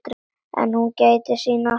En hún gætir sín alltaf.